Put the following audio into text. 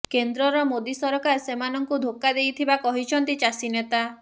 କେନ୍ଦ୍ରର ମୋଦି ସରକାର ସେମାନଙ୍କୁ ଧୋକ୍କା ଦେଇଥିବା କହିଛନ୍ତି ଚାଷୀ ନେତା